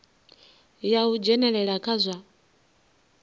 ya u dzhenelela kha zwa